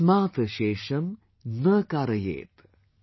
Tasmaat Shesham na Kaaryet ||